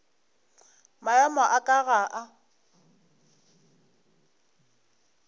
maemo a ka ga a